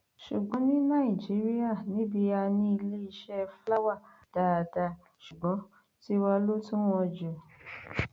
ṣùgbọn ní nàìjíríà níbí a ní iléeṣẹ fúláwá dáadáa ṣùgbọn tiwa ló tún wọn jù